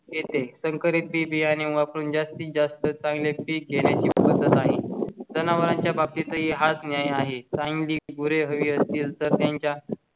संकरित बी बियाणे वापरून जास्तीत जास्त चांगले घेण्या ची बस आहे. जनावरांच्या यांच्या बाबतीतही हाच न्याय आहे. सांगली गुरे हवी असतील तर त्यांचा